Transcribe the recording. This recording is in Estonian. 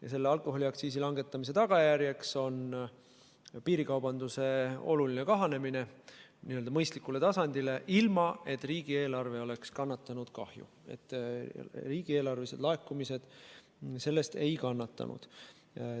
Ja selle alkoholiaktsiisi langetamise tulemus on piirikaubanduse oluline kahanemine n-ö mõistlikule tasandile, ilma et riigieelarve oleks kahju kandnud – riigieelarvelised laekumised sellest ei kannatanud.